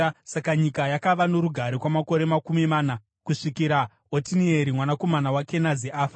Saka nyika yakava norugare kwamakore makumi mana, kusvikira Otinieri mwanakomana waKenazi afa.